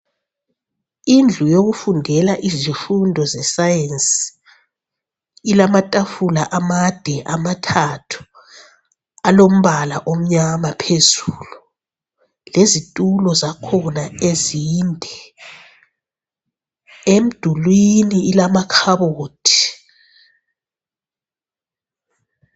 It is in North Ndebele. Indlu yokufundela izifundo zesayensi, ilamatafula amade amathathu alombala omnyama phezulu, lezitulo zakhona ezinde. Emdulwini ilamakhabothi.